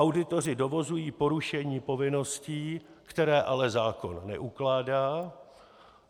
Auditoři dovozují porušení povinností, které ale zákon neukládá.